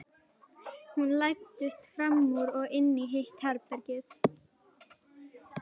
Hún læddist fram úr og inn í hitt herbergið.